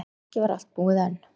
Ekki var allt búið enn.